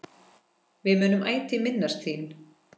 Við munum ætíð minnast þín.